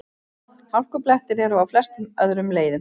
Hálkublettir eru á flestum öðrum leiðum